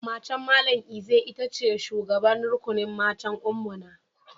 Matan Mallam Eze ita ce shugaban rukunin matan Ummuna.